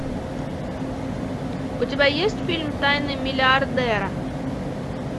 у тебя есть фильм тайны миллиардера